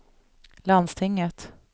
landstinget